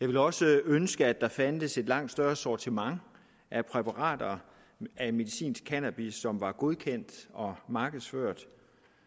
jeg ville også ønske at der fandtes et langt større sortiment af præparater af medicinsk cannabis som var godkendt og markedsført